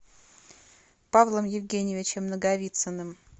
павлом евгеньевичем наговицыным